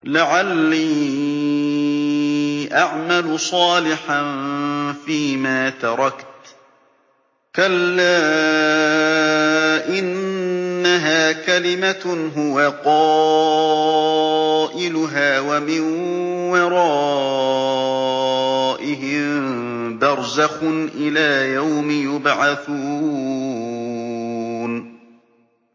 لَعَلِّي أَعْمَلُ صَالِحًا فِيمَا تَرَكْتُ ۚ كَلَّا ۚ إِنَّهَا كَلِمَةٌ هُوَ قَائِلُهَا ۖ وَمِن وَرَائِهِم بَرْزَخٌ إِلَىٰ يَوْمِ يُبْعَثُونَ